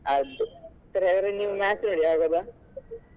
ಅದೇ ಸರಿ ಹಾಗಾದ್ರೆ ನೀವು match ನೋಡಿ ಆಗಬೋದ?